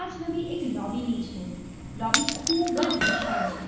છબી એક લોબી ની છે લોબી ખૂબ જ વિશાળ છે.